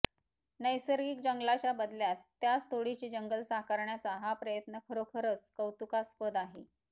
नैसर्गिक जंगलाच्याबदल्यात त्याच तोडीचे जंगल साकारण्याचा हा प्रयत्न खरोखरच कौतुकास्पद आहे